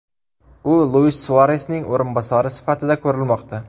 U Luis Suaresning o‘rinbosari sifatida ko‘rilmoqda.